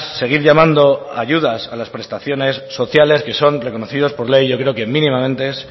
seguir llamando ayudas a las prestaciones sociales que son reconocidos por ley yo creo que mínimamente es